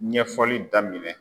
Ɲɛfɔli daminɛ.